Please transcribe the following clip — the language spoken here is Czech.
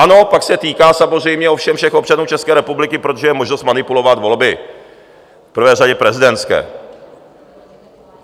Ano, pak se týká samozřejmě ovšem všech občanů České republiky, protože je možnost manipulovat volby, v prvé řadě prezidentské.